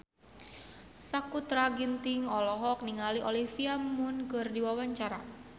Sakutra Ginting olohok ningali Olivia Munn keur diwawancara